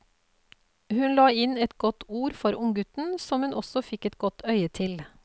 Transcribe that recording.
Hun la inn et godt ord for unggutten som hun også fikk et godt øye til.